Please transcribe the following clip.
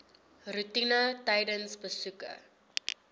roetine tydens besoeke